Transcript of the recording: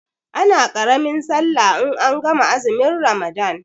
Ana ƙaramin sallah in an gama azumin ramadan